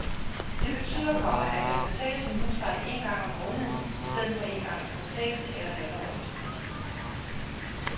Det betyder, komma at man betaler sin husleje en gang om måneden i stedet for en gang i kvartalet eller halvårligt. punktum